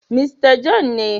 Mista John ne..